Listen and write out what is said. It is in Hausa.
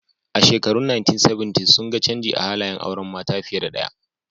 A shekarun 1970s sun ga canji a halayen auren mata fiye da ɗaya